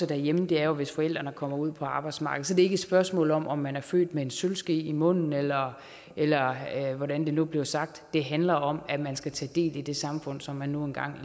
derhjemme er jo hvis forældrene kommer ud på arbejdsmarkedet så det er ikke et spørgsmål om om man er født med en sølvske i munden eller eller hvordan det nu blev sagt det handler om at man skal tage del i det samfund som man nu engang